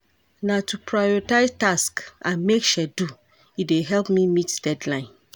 Na to prioritize tasks and make schedule, e dey help me meet deadline.